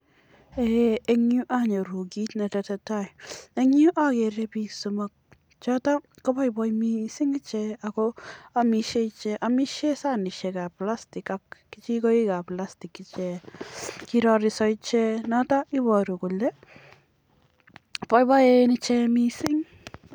eng nyuu anyoruu kii netesetai ak agere piik cheamishee alo amishee sanishek chepo [plastick] ako pai pai mising